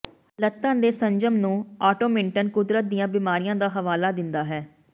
ਲੱਤਾਂ ਦੇ ਸੰਜਮ ਨੂੰ ਆਟੋਮਿੰਟਨ ਕੁਦਰਤ ਦੀਆਂ ਬਿਮਾਰੀਆਂ ਦਾ ਹਵਾਲਾ ਦਿੰਦਾ ਹੈ